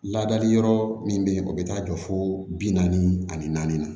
Ladali yɔrɔ min be yen o bi taa jɔ fo bi naani ani naani na